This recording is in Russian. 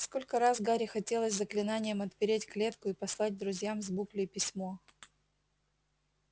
сколько раз гарри хотелось заклинанием отпереть клетку и послать друзьям с буклей письмо